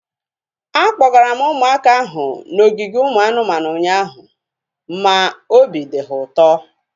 Akpọgara m ụmụaka ahu n'ogige ụmụ anụmanụ ụnyaahụ ma obi dị ha ụtọ